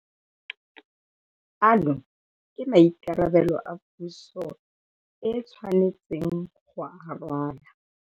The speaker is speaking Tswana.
Ano ke maikarabelo a puso e tshwanetseng go a rwala.